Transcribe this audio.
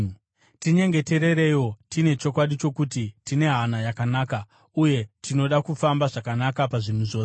Tinyengeterereiwo. Tine chokwadi chokuti tine hana yakanaka uye tinoda kufamba zvakanaka pazvinhu zvose.